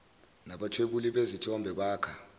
nabathwebuli bezithombe bakha